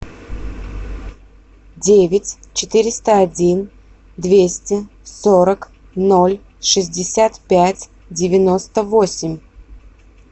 девять четыреста один двести сорок ноль шестьдесят пять девяносто восемь